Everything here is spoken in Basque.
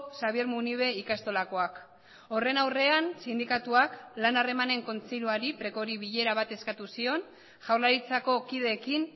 xabier munibe ikastolakoak horren aurrean sindikatuak lan harremanen kontseiluari precori bilera bat eskatu zion jaurlaritzako kideekin